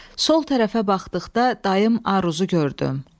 Sol tərəfə baxdıqda dayım Aruzu gördüm.